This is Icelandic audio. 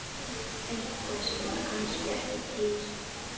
Eitthvað sem var kannski ekki til.